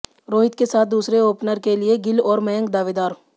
रोहित के साथ दूसरे ओपनर के लिए गिल और मयंक दावेदार